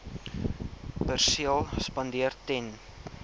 perseel spandeer ten